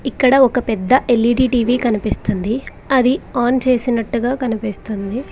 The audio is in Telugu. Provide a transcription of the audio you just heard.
ఇక్కడ ఒక పెద్ద ఎల్_ఈ_డి టీవీ కనిపిస్తుంది అది ఆన్ చేసినట్టుగా కనిపిస్తుంది.